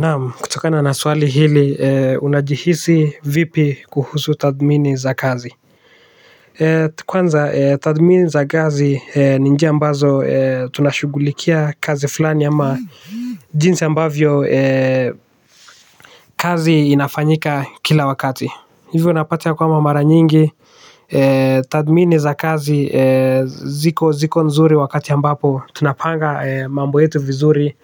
Naam, kutokana na swali hili, unajihisi vipi kuhusu tathmini za kazi? Kwanza, tathmini za kazi ni njia ambazo tunashughulikia kazi fulani ama jinsi ambavyo kazi inafanyika kila wakati. Hivyo unapata kwamba mara nyingi tathmini za kazi ziko ziko nzuri wakati ambapo tunapanga mambo yetu vizuri.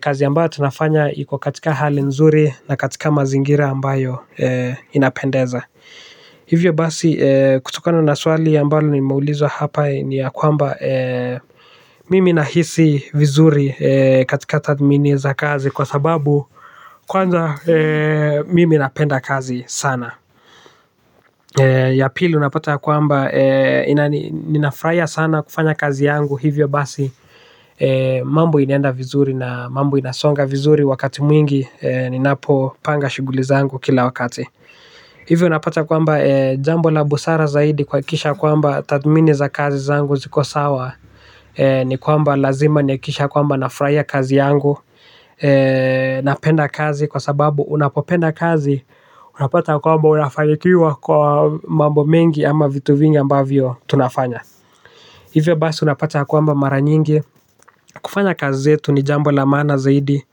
Kazi ambayo tunafanya iko katika hali nzuri, na katika mazingira ambayo inapendeza. Hivyo basi kutokano na swali ambalo nimeulizwa hapa ni ya kwamba mimi nahisi vizuri katika tathmini za kazi kwa sababu, kwanza mimi napenda kazi sana. Ya pili unapata ya kwamba, ninafurahia sana kufanya kazi yangu hivyo basi mambo inaenda vizuri na mambo inasonga vizuri wakati mwingi ninapopanga shughuli zangu kila wakati. Hivyo unapata kwamba jambo la busara zaidi kuhakikisha kwamba tathmini za kazi zangu ziko sawa ni kwamba lazima nihakikishe ya kwamba nafutahia kazi yangu. Napenda kazi kwa sababu unapopenda kazi unapata kwamba unafanikiwa kwa mambo mengi ama vitu vingi ambavyo tunafanya. Hivyo basi unapata ya kwamba mara nyingi, kufanya kazi zetu ni jambo la maana zaidi,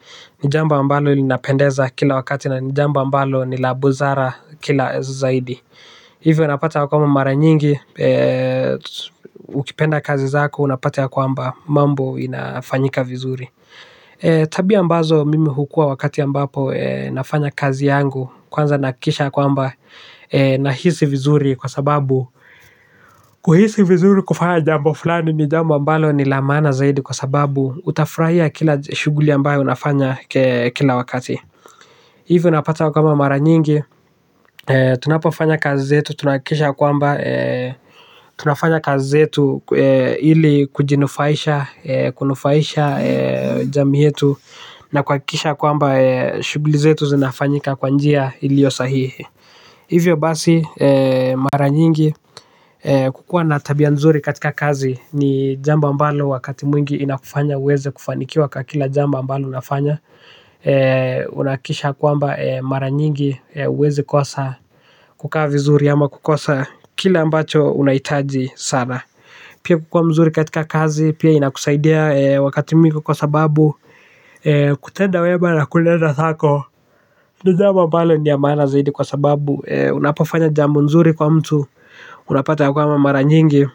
ni jambo ambalo linapendeza kila wakati na ni jambo ambalo ni la buzara kila zaidi. Hivyo unapata ya kwamba mara nyingi ukipenda kazi zako unapata ya kwamba mambo inafanyika vizuri. Tabia ambazo mimi hukuwa wakati ambapo nafanya kazi yangu, kwanza nahakikisha ya kwamba nahisi vizuri kwa sababu kuhisi vizuri kufanya jambo fulani ni jambo ambalo ni la maana zaidi kwa sababu utafurahia kila shughuli ambayo unafanya kila wakati. Hivyo unapata ya kwamba mara nyingi, tunapofanya kazi zetu, tunahakikisha ya kwamba tunafanya kazi zetu ili kujinufaisha, kunufaisha jamii yetu na kuhakikisha kwamba shughuli zetu zinafanyika kwa njia iliyo sahihi. Hivyo basi mara nyingi kukuwa na tabia nzuri katika kazi ni jambo ambalo wakati mwingi inakufanya uweze kufanikiwa kwa kila jambo ambalo unafanya. Unahakikisha kwamba mara nyingi huwezi kosa kukaa vizuri ama kukosa kile ambacho unahitaji sana. Pia kukuwa mzuri katika kazi pia inakusaidia wakati mwingi kwa sababu kutenda wema na kuenda thako ni jambo ambale ni ya maana zaidi kwa sababu unapofanya jambo nzuri kwa mtu unapata ya kwamba mara nyingi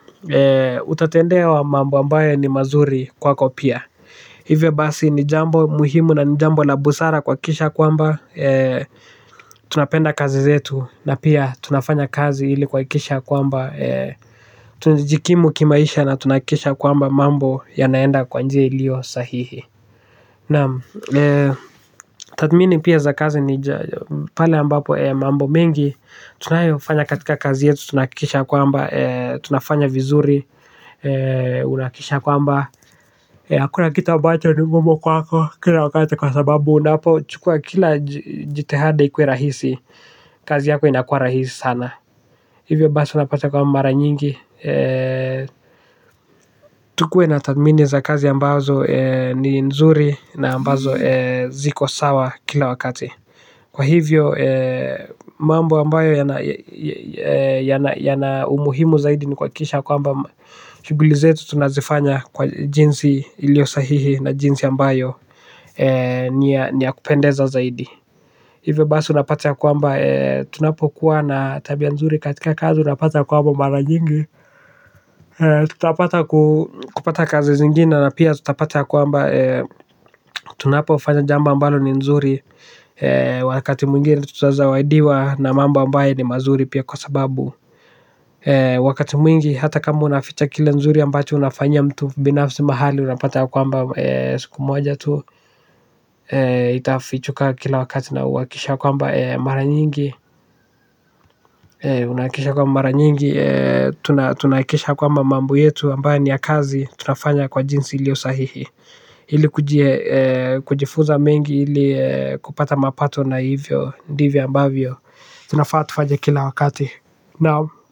utatendewa mambo ambayo ni mazuri kwako pia. Hivo basi ni jambo muhimu na ni jambo la busara kuhakikisha kwamba tunapenda kazi zetu na pia tunafanya kazi ili kuhakikisha kwamba tunajikimu kimaisha na tunahakikisha kwamba mambo yanaenda kwa njia iliyo sahihi, naam. Tathmini pia za kazi ni pale ambapo mambo mengi tunayofanya katika kazi yetu tunahakikisha ya kwamba tunafanya vizuri unahakikisha kwamba hakuna kitu ambacho ni ngumu kwako kila wakati kwa sababu unapo chukua kila jitihada ikuwe rahisi, kazi yako inakuwa rahisi sana. Hivyo basi unapata kwamba mara nyingi tukuwe na tathmini za kazi ambazo ni nzuri na ambazo ziko sawa kila wakati. Kwa hivyo mambo ambayo yana umuhimu zaidi ni kuhakikisha kwamba shughuli zetu tunazifanya kwa jinsi iliyo sahihi na jinsi ambayo ni ya kupendeza zaidi. Hivo basi unapate ya kwamba tunapokuwa na tabia nzuri katika kazi unapata ya kwamba mara nyingi tutapata kupata kazi zingine na pia tutapata ya kwamba tunapofanya jambo ambalo ni nzuri wakati mwingine tutazawadiwa na mambo ambaye ni mazuri pia kwa sababu wakati mwingi hata kama unaficha kile nzuri ambacho unafanyia mtu binafsi mahali unapata ya kwamba siku moja tu itafichuka kila wakati na uhakikishe kwamba mara nyingi unahakikisha kwamba mara nyingi tunahakikisha kwamba mambo yetu ambayo ni ya kazi, tunafanya kwa jinsi iliyo sahihi ili kujifunza mengi ili kupata mapato na hivyo ndivyo ambavyo tunafaa tufanye kila wakati.